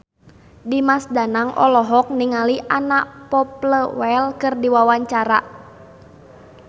Dimas Danang olohok ningali Anna Popplewell keur diwawancara